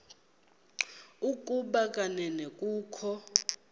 ukuba kanene kukho